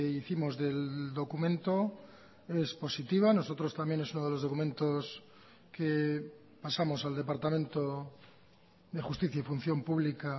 hicimos del documento es positiva nosotros también es uno de los documentos que pasamos al departamento de justicia y función pública